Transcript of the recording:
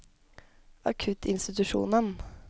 akuttinstitusjonen